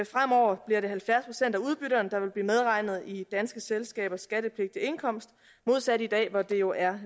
fremover bliver det halvfjerds procent af udbytterne der vil blive medregnet i danske selskabers skattepligtige indkomst modsat i dag hvor det jo er